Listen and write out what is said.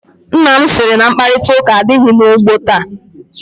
Nna m sị na mkparịtaụka adịghị n'ugbo taa.